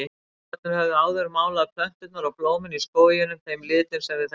Álfarnir höfðu áður málað plönturnar og blómin í skóginum þeim litum sem við þekkjum.